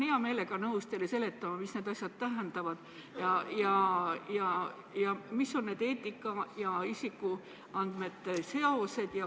Ma olen hea meelega nõus teile seletama, mida need asjad tähendavad ja millised on eetika ja isikuandmete seosed.